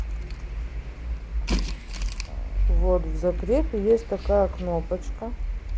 вот в запрете есть такая кнопочка